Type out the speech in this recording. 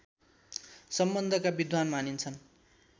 सम्बन्धका विद्वान मानिन्छन्